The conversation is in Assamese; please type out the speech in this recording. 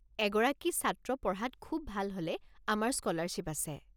এগৰাকী ছাত্ৰ পঢ়াত খুউব ভাল হ'লে আমাৰ স্কলাৰশ্বিপ আছে।